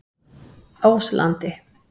Áslandi